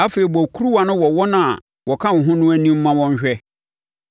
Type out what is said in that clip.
“Afei, bɔ kuruwa no wɔ wɔn a wɔka wo ho no anim ma wɔnhwɛ,